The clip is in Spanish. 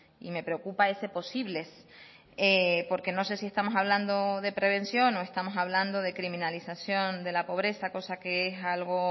y me preocupa ese posibles porque no sé si estamos hablando de prevención o estamos hablando de criminalización de la pobreza cosa que es algo